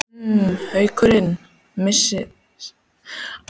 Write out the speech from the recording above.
Munu Haukarnir missa frá sér sigurinn, enn einu sinni???